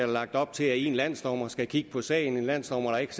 lagt op til at en landsdommer skal kigge på sagen en landsdommer der ikke